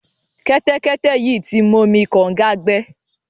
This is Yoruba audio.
Kẹ́tẹ́kẹ́tẹ́ yìí ti momi kọ̀ǹga gbẹ.